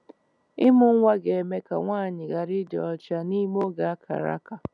Ịmụ nwa ga-eme ka nwaanyị ghara ịdị ọcha n'ime oge a kara aka.